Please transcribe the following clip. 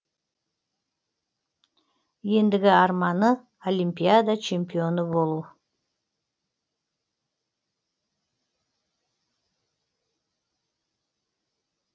ендігі арманы олимпиада чемпионы болу